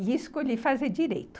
E escolhi fazer Direito.